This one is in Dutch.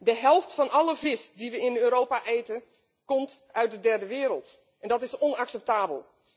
De helft van alle vis die we in Europa eten, komt uit de derde wereld en dat is onacceptabel.